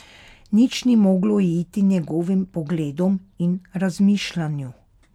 Nič ni moglo uiti njegovim pogledom in razmišljanju.